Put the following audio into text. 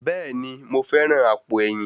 Bẹ́ẹ̀ni, mo fẹ́ràn àpò ẹ̀yìn.